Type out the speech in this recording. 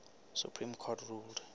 supreme court ruled